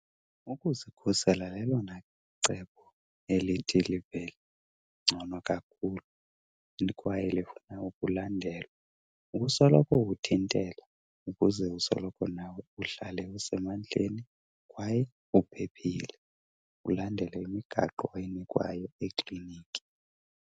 Ukuzikhusela lelona cebo elithi livele ngcono kakhulu kwaye lifuna ukulandelwa. Ukusoloko uthintela ukuze usoloko nawe uhlale usemandleni kwaye uphephile. Ulandele imigaqo oyinikwayo ekliniki.